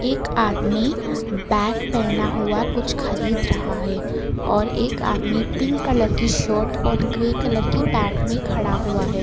एक आदमी बैग पेहना हुआ कुछ खरीद रहा है और एक आदमी पिंक कलर की शर्ट और ग्रे कलर की पेंट में खड़ा हुआ है।